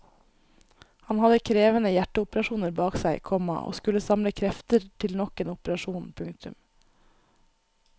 Han hadde krevende hjerteoperasjoner bak seg, komma og skulle samle krefter til nok en operasjon. punktum